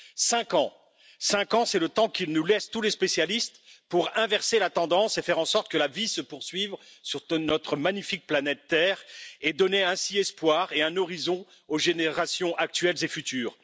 Cinq ans, c'est le temps que nous laissent tous les spécialistes pour inverser la tendance, faire en sorte que la vie se poursuive sur notre magnifique planète Terre et donner ainsi de l'espoir et un horizon aux générations actuelles et futures.